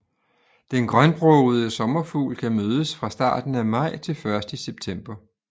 Den grønbrogede sommerfugl kan mødes fra starten af maj til først i september